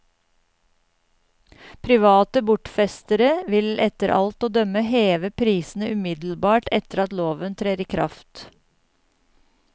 Private bortfestere vil etter alt å dømme heve prisene umiddelbart etter at loven trer i kraft.